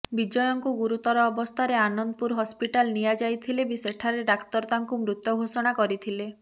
ବିଜୟଙ୍କୁ ଗୁରୁତର ଅବସ୍ଥାରେ ଆନନ୍ଦପୁର ହସ୍ପିଟାଲ ନିଆଯାଇଥିଲେ ବି ସେଠାରେ ଡାକ୍ତର ତାଙ୍କୁ ମୃତ ଘୋଷଣା କରିଥିଲେ